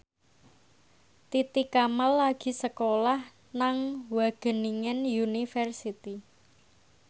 Titi Kamal lagi sekolah nang Wageningen University